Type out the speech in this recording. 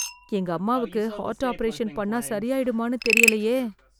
எங்க அம்மாவுக்கு heart operation பண்ண சரியாயிடுமானு தெரியலையே